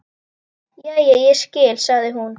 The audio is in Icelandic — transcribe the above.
Jæja, ég skil, sagði hún.